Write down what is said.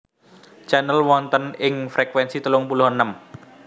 Channel wonten ing frekuensi telung puluh enem